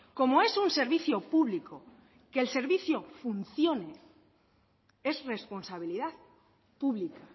como es un servicio público que el servicio funcione es responsabilidad pública